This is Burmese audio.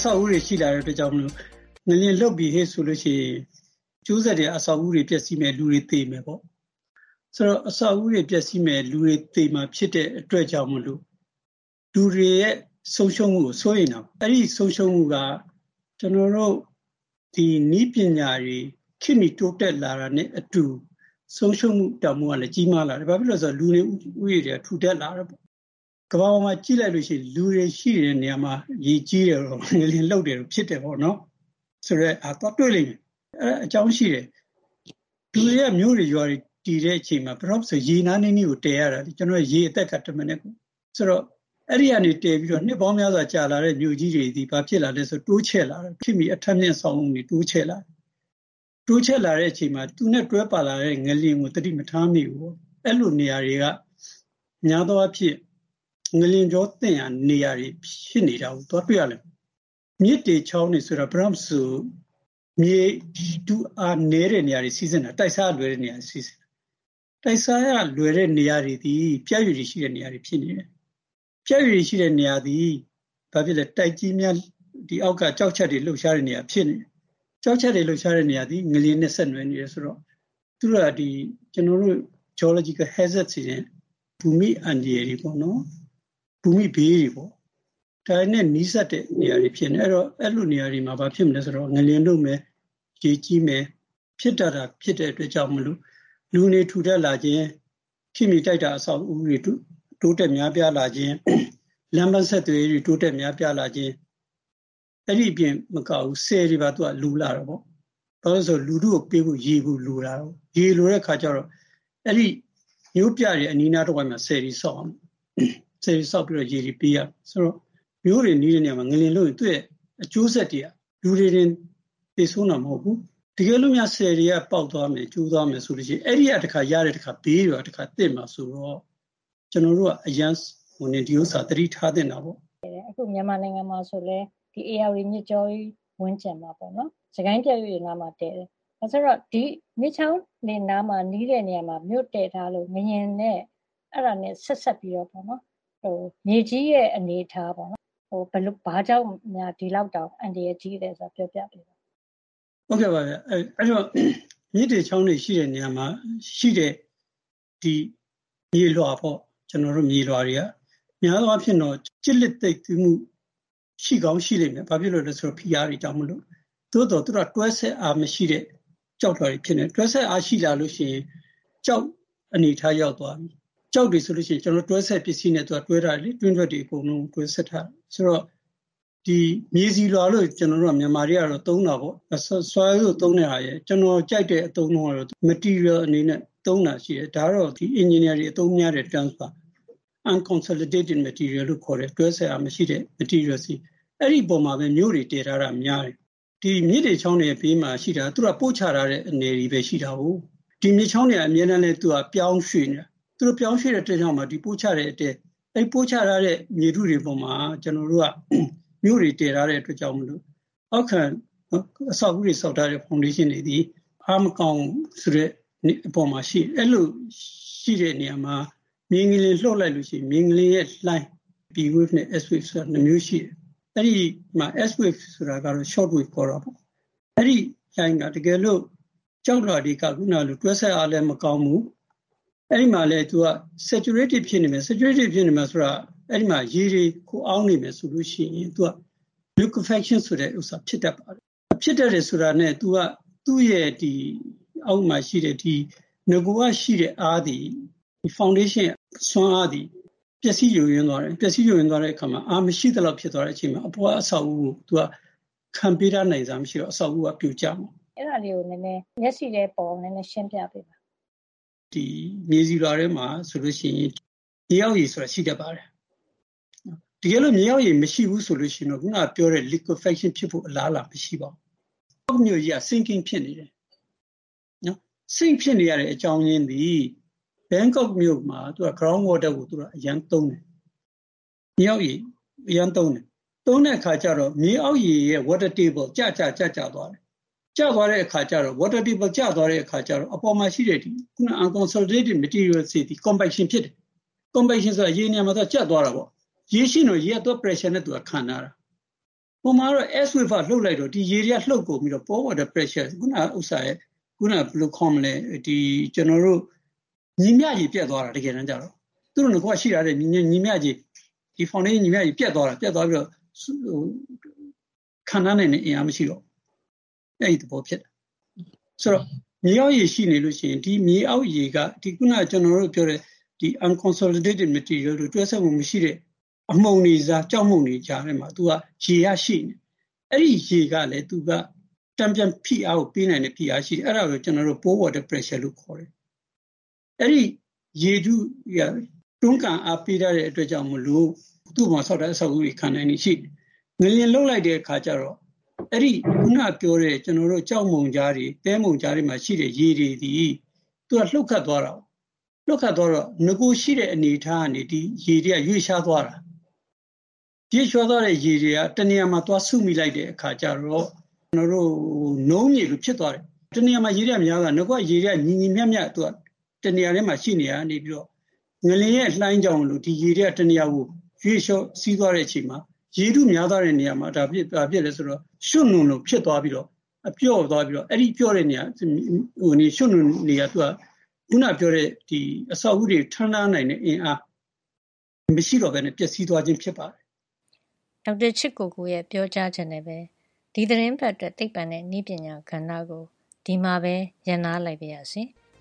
ဆောက်အဦးတွေရှိလာတဲ့အတွက်ကြောင့်မို့လို့ ငလျင်လှုပ်ပြီဟေ့ဆိုလို့ရှိရင် အကျိုးဆက်တွေက အဆောက်အဦးတွေပျက်စီးမယ်၊ လူတွေ သေမယ်ပေါ့။…ဆိုတော့ အဆောက်အဦးတွေပျက်စီးမယ်၊ လူတွေသေမှာဖြစ်တဲ့အတွက်ကြောင့်မို့လို့ လူတွေရဲ့ဆုံးရှုံးမှုကို စိုးရိမ်တာပေါ့။ အဲဒီဆုံးရှုံးမှုက နည်းပညာတွေ ခေတ်မီတိုးတက်လာတာနဲ့အတူ ဆုံးရှုံးမှုတန်ဖိုးကလည်း ကြီးမားလာတယ်။ ဘာဖြစ်လို့လဲဆိုတော့ လူနေဦးရေတွေက ထူထပ်လာလို့။ ကမ္ဘာပေါ်မှာကြည့်လိုက်လို့ရှိရင် လူတွေရှိနေတဲ့နေရာတွေမှာ ရေကြီးတယ်တို့၊ ဘာတို့၊ ငလျင်လှုပ်တယ်တို့ ဖြစ်တယ်ပေါ့နော်။..ဆိုတဲ့ဟာ သွားတွေ့လိမ့်မယ်။ အဲဒါက အကြောင်းရှိတယ်။ လူတွေက မြို့တွေ၊ ရွာတွေတည်တဲ့အချိန်မှာ ရေနားနီးနီးကိုတည်ရတာ။ ရေအသက်က တမနက်…ဆိုတော့ အဲဒီကနေ နှစ်ပေါင်းများစွာကြာလာတဲ့မြို့ ကြီးတွေ ဘာဖြစ်လာလဲဆိုတော့ တိုးချဲ့လာတယ်။ ခေတ်မီအထပ်မြင့်အဆောက်အဦးတွေ တိုးချဲ့လာတယ်။ တိုးချဲ့လာတဲ့အချိန်မှာ သူနဲ့တွဲပါလာတဲ့ငလျင်ကို သတိမထားမိဘူးပေါ့။ အဲလိုနေရာတွေက များသောအားဖြင့် ငလျင်ကြော သင့်ရာနေရာတွေ ဖြစ်နေတာကို သွားတွေ့ရတယ်။ မြစ်တွေ ချောင်းတွေဆိုတာက ဘယ်တော့မဆို မြေထုအားနည်းတဲ့နေရာတွေမှာ စီးဆင်းတာ။ တိုက်စားရလွယ်တဲ့နေရာတွေမှာ စီးဆင်းတာ။ တိုက်စားရလွယ်တဲ့နေရာတွေသည် ပြတ်ရွေ့ ရှိတဲ့နေရာတွေဖြစ်နေတယ်။ ပြတ်ရွေ့ရှိတဲ့နေရာတွေသည် တိုက်ကြီးများအောက်က ကျောက်ချပ်တွေ လှုပ်ရှားတဲ့နေရာ ဖြစ်တယ်။ ကျောက်ချပ်တွေလှုပ်ရှားတဲ့နေရာသည် ငလျင်နဲ့ ဆက်နွယ်နေတယ်ဆိုတော့ သူတို့က ကျနော်တို့ Geological hazards တွေ၊ ဘူမိအန္တရာယ်တွေ ပေါ့နော်၊ ဘူမိဘေးတွေပေါ့။ ဒါတွေနဲ့နီးစပ်တဲ့နေရာတွေဖြစ်နေတယ်။ အဲလိုနေရာတွေမှာ ဘာဖြစ်မလဲဆိုတော့ ငလျင်လှုပ်မယ်၊ ရေကြီးမယ်၊ ဖြစ်တတ်တာဖြစ်တဲ့အတွက်ကြောင့်မို့လို့ လူနေထူထပ်လာခြင်း၊ ခေတ်မီတိုက်တာ အဆောက်အဦးတွေ တိုးတက်များပြားလာခြင်း၊ လမ်းပမ်းဆက်သွယ်ရေးတိုးတက်များပြားလာခြင်း၊ အဲဒီအပြင်မကဘူး၊ ဆည်တွေပါ လိုလာတာပေါ့။ ဘာလို့လဲဆို လူထုကိုပေးဖို့ ရေလိုတာကိုး။ ရေလိုတဲ့အခါကျတော့ အဲဒီမြို့ပြတွေရဲ့အနီးအနားတဝိုက်မှာ ဆည်တွေဆောက်ရမယ်။ ဆည်တွေဆောက်ပြီးတော့ ရေတွေပေး ရမယ်။ ဆိုတော့ မြို့တွေနဲ့နီးတဲ့နေရာတွေမှာ ငလျင်လှုပ်ရင် သူ့ရဲ့အကျိုးဆက်တွေက လူတွေတင် သေဆုံးတာမဟုတ်ဘူး၊ တကယ်လို့များ ဆည်တွေက ပေါက်သွားမယ်၊ ကျိုးသွားမယ်ဆိုလို့ရှိရင် အဲဒီကရတဲ့ ဘေးတွေကပါ တခါသင့်မှာဆိုတော့ ကျနော်တို့က အရမ်း သတိထားသင့်တာပေါ့။ ဒေါ်ခင်မျိုးသက်။ ။ အခု မြန်မာနိုင်ငံမှာဆိုလည်း ဧရာဝတီမြစ်ကြောင်းကြီး ဝန်းကျင်မှာပေါ့နော်- စစ်ကိုင်းပြတ်ရွေ့နားမှာ တည်တယ်ဆိုတော့ ဒီမြစ်ချောင်းတွေနဲ့နီးတဲ့နားမှာ မြို့တည်ထားလို့ ငလျင်နဲ့ဆက်စပ်ပြီးတော့ မြေကြီးရဲ့အနေအထားပေါ့ ဘာကြောင့်များ ဒီလောက်တောင် အန္တရာယ်ကြီးလဲဆိုတာ ပြောပြပေးပါ။ ဒေါက်တာချစ်ကိုကို။ ။ ဟုတ်ကဲ့ပါဗျ။ မြစ်တွေ ချောင်းတွေရှိတဲ့နေရာမှာ ရှိတဲ့ မြေလွှာပေါ့… မြေလွှာတွေက များသောအားဖြင့် ကျစ်လျစ်သိပ်သည်းမှု ရှိကောင်းရှိလိမ့်မယ်။ ဘာဖြစ်လို့လဲဆိုရင် ဖိအားတွေကြောင့်မို့လို့။ သို့သော် သူတို့က တွဲဆက်အားမရှိတဲ့ ကျောက်လွှာတွေဖြစ်နေတယ်။ တွဲဆက်အားရှိလာလို့ရှိရင် ကျောက် အနေအထားအရကိုက ကျောက်တွေဆိုလို့ရှိရင် ကျနော်တို့က တွဲဆက်ပစ္စည်းနဲ့တွဲထားတယ်လေ။ တွင်းထွက်တွေအကုန်လုံးကို တွဲဆက်ထားတာ။…ဆိုတော့ ဒီ မြန်မာတွေကတော့ မြေဆီလွှာလို့ သုံးတာပေါ့။ soil လို့သုံးတဲ့ဟာတွေက ကျနော်ကြိုက်တဲ့အသုံးနှုန်းကတော့ material အနေနဲ့သုံးတာရှိတယ်။ ဒါကတော့ အင်ဂျင်နီယာတွေအသုံးများတဲ့ terms ပါ။ unconsolidated materials လို့ ခေါ်တယ်။ တွဲဆက်အားမရှိတဲ့ material တွေ။ အဲဒီအပေါ်မှာပဲ မြို့တွေတည်ထားတာများတယ်။ မြစ်တွေချောင်းတွေရဲ့ဘေးမှာရှိတာက ပို့ချတဲ့အနည်တွေလည်း ရှိတာကိုး။ ဒီမြစ်ချောင်းတွေက အမြဲတမ်းလည်း ပြောင်းရွှေ့နေတာ။ သူပြောင်းရွှေ့တဲ့နေရာမှာ သူတို့ ပို့ချတဲ့အတွက်၊ ဒီ ပို့ချထားတဲ့မြေထုတွေပေါ်မှာ ကျနော်တို့က မြို့တွေတည်ထားတဲ့အတွက်ကြောင့်မို့လို့ အောက်ခံ အဆောက်အဦးတွေဆောက်ထားတဲ့ ဖောင်ဒေးရှင်းတွေသည် အားမကောင်းဘူးဆိုတဲ့ အပေါ်မှာ ရှိနေတယ်။ အဲလိုရှိတဲ့နေရာမှာ မြေငလျင် လှုပ်လိုက်လို့ရှိရင် မြေငလျင်လှိုင်း p waves နဲ့ s waves ဆိုပြီး လှိုင်းနှစ်မျိုးရှိတယ်။ အဲဒီမှာ s wave ဆိုတာကတော့ short wave ခေါ်တာပေါ့။ အဲဒီလှိုင်းက တကယ်လို့ ကျောက်လွှာတွေက အခုနကလို တွဲဆက်အားလည်း မကောင်းဘူး၊ အဲဒီမှာလည်း သူက saturated ဖြစ်နေမယ်။ saturated ဖြစ်နေမယ် ဆိုတာက အဲဒီမှာ ရေတွေခိုအောင်းနေမယ် ဆိုလို့ရှိရင် သူက liquefaction ဆိုတဲ့ဥစ္စာ ဖြစ်တတ်ပါတယ်။ ဖြစ်တယ်ဆိုတာနဲ့ သူက သူ့ရဲ့အောက်မှာရှိတဲ့ ဒီနဂိုက ရှိတဲ့အားသည် ဖောင်ဒေးရှင်းရဲ့ စွမ်းအားသည် ပျက်စီးယိုယွင်းသွားတယ်။ ပျက်စီးယိုယွင်းသွားတဲ့အခါမှာ အားမရှိသလောက် ဖြစ်သွားတဲ့အချိန်မှာ အပေါ်က အဆောက်အဦးကို သူက ခံပေးထား နိုင်စွမ်းမရှိတော့ အဆောက်အဦးက ပြိုကျမှာပေါ့။ ဒေါ်ခင်မျိုးသက်။ ။ liquefaction ကို- အဲဒါလေးကို နည်းနည်း ရှင်းပြပေးပါ။ ဒေါက်တာချစ်ကိုကို။ ။ ဒီမြေဆီလွှာထဲ မှာဆိုလို့ရှိရင် မြေအောက်ရေဆိုတာ ရှိတတ်ပါတယ်။ တကယ်လို့ မြေအောက်ရေမရှိဘူးဆိုလို့ရှိရင်တော့ ခုနကပြောတဲ့ liquefaction ဖြစ်ဖို့ အလားအလာ မရှိတော့ဘူး။ ဥပမာ - ဘန်ကောက်မြို့ကြီးက sinking ဖြစ်နေတယ်။ ။ sink ဖြစ်နေရတဲ့အကြောင်းအရင်းသည် ဘန်ကောက်မြို့မှာ မြေအောက်ရေကို သူတို့က အရမ်းသုံးတယ်။ သုံးတဲ့အခါကျတော့ မြေအောက်ရေရဲ့ water table ကျကျသွားတယ်။ အဲဒီလို ကျကျသွားတဲ့အခါကျတော့ အပေါ်မှာရှိတဲ့ အခုနက တွဲဆက်အားနည်းပါးတဲ့ မြေသားတွေသည် compaction ဖြစ်တယ်။ အဲဒါက ရေ နေရာမှာ ကြပ် သွားတာပေါ့။ ရေရှိနေရင်တော့ ရေက ပရက်ရှာ နဲ့သူက ခံထားတာ။ ဟိုမှာတော့ s wave က လှုပ်လိုက်တော့ ဒီရေတွေက လှုပ်ကုန်ပြီးတော့ ပေါ်လာတဲ့ ဖိအား သည်၊ အခုနကဥစ္စာရဲ့ ဘယ်လိုခေါ်မလဲ- “ညီမျှခြေ” ပျက်သွားတာ တကယ်တန်းကျတော့။ သူ့မှာ နဂိုက ရှိထားတဲ့ ညီမျှခြေ ပျက်သွားတာ။ ဒီ ဖေါင်ဒေးရှင်းရဲ့ ညီမ ျှခြေ ပျက်သွား ပြီးတော့ ခံထားနိုင်တဲ့ အင်အားမရှိတော့ဘူး။ အဲဒီသဘောဖြစ်တာ။ - ဆိုတော့ မြေအောက်ရေရှိနေလို့ရှိရင် ဒီမြေအောက်ရေက အခုနကပြောတဲ့ unconsolidated material လို့ခေါ်တဲ့ တွဲဆက်မှုမရှိတဲ့ အမှုန်တွေကြား၊ ကျောက်မှုန့်တွေကြားထဲမှာ သူက ရေက ရှိနေတယ်။ အဲဒီရေကလည်း သူက တန်ပြန်ဖိအားကို ပေးနိုင်တဲ့ အင်အားရှိတယ်။ အဲဒါကို ကျနော်တို့က porewater pressure လို့ခေါ်တယ်။ အဲဒီရေထုက တွန်းကန်အား ပေးထားတဲ့ အတွက်ကြောင့်မို့လို့ သူ့အပေါ်မှာ ဆောက်ထားတဲ့ အဆောက်အဦးတွေ ခံနိုင်ရည်ရှိနေတယ်။ ငလျင်လှုပ်လိုက်တဲ့ အခါကျတော့ အခုနကပြောတဲ့ ကျောက်မှုန်ကြားတွေ၊ သဲမှုန်ကြားတွေမှာ ရှိတဲ့ ရေတွေသည် လှုပ်ခတ်သွားတာကိုး။ လှုပ်ခတ်သွားတော့ နဂိုရ်ရှိတဲ့အနေအထားကနေ ဒီရေတွေက ရွေ့လျားသွားတာ။ ရွေ့လျားသွားတဲ့ရေတွေက တနေရာမှာ သွားစုမိလိုက်တဲ့အခါ ကျတော့ နုန်းမြေလိုဖြစ်သွားတယ်။ တနေရာမှာ ရေတွေက များသွားတယ်။ နဂိုရ်က ညီညီမျှမျှ တနေရာတည်းမှာ ရှိနေရာက နေပြီးတော့ ငလျင်ရဲ့လှိုင်းကြောင့် ဒီရေတွေက တနေရာကို ရွေ့လျော စီးသွားတဲ့အချိန်မှာ ဒီရေထုများသွားတဲ့ နေရာမှာ ဘာဖြစ်လဲဆိုတော့ ရွှံ့ နွံလို ဖြစ်သွားပြီးတော့ ပျော့သွားပြီးတော့ အဲဒီပျော့တဲ့ နေရာက အဲဒီ ရွှံ့ နွံ တွေက အခုနကပြောတဲ့ ဒီအဆောက်အဦး တွေကို ထမ်းထားနိုင်တဲ့အင်အား မရှိတော့ဘဲနဲ့ပျက်စီးသွားခြင်း ဖြစ်ပါတယ်။ ဒေါ်ခင်မျိုးသက်။ ။ ဒေါက်တာချစ်ကိုကိုရဲ့ပြောကြားချက်နဲ့ပဲ ဒီသီတင်းပတ်အတွက် သိပ္ပံနဲ့နည်းပညာကဏ္ဍကို ဒီမှာပဲ ရပ်နားလိုက်ပါရစေ။